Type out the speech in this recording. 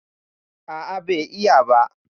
A'a bai yi ba